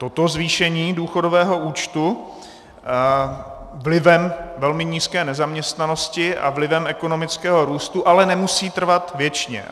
Toto zvýšení důchodového účtu vlivem velmi nízké nezaměstnanosti a vlivem ekonomického růstu ale nemusí trvat věčně.